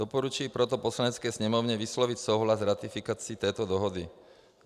Doporučuji proto Poslanecké sněmovně vyslovit souhlas s ratifikací této dohody.